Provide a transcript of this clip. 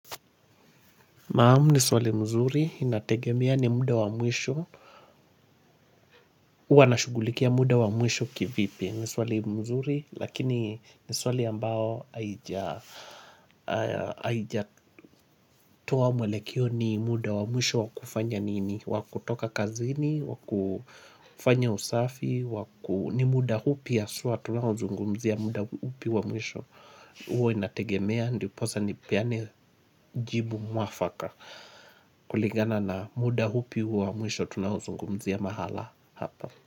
Maamu ni swali mzuri, inategemea ni muda wa mwisho huwa na shugulikia muda wa mwisho kivipi ni swali mzuri, lakini ni swali ambao haija haijatoa mwelekeo ni muda wa mwisho wakufanya nini Wakutoka kazini, wakufanya usafi waku ni muda hupi ya haswa tunao zungumzia muda hupi wa mwisho huwa inategemea, ndiposa ni peane jibu mwafaka kulingana na muda hupi huo wa mwisho tunao zungumzia mahala hapa.